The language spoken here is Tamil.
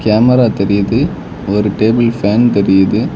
கேமரா தெரியிது ஒரு டேபிள் ஃபேன் தெரியுது.